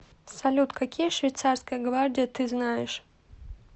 салют какие швейцарская гвардия ты знаешь